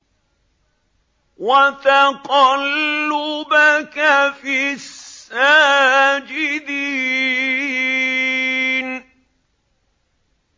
وَتَقَلُّبَكَ فِي السَّاجِدِينَ